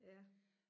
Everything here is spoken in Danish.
ja